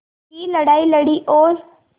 की लड़ाई लड़ी और